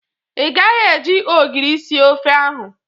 Ị gaghi e ji ogiri sie ofe ahụ!